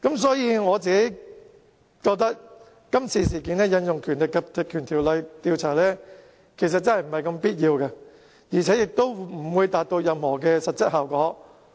所以，我本人覺得，今次這事件引用這項條例調查，實在未必有必要，而且亦不會達到任何實際效果。